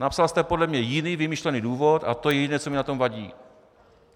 Napsal jste podle mě jiný vymyšlený důvod, a to je jediné, co mi na tom vadí.